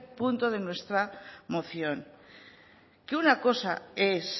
punto de nuestra moción que una cosa es